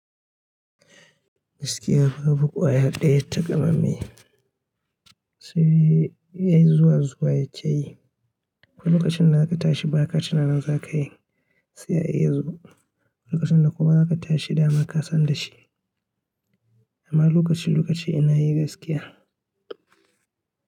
Gaskiya babu ƙwayar ɗaya taƙamamme sai yayi zuwa zuwa ya ke yi. Ko lokacin da za ka tashi ba ka tunanin za ka yi, sai yayi yazo. Lokacin da kuma za ka tashi dama ka san da shi. Amma lokaci-lokaci ina yi gaskiya.